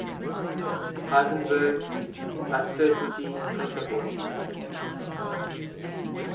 heisenberg uncertainty principle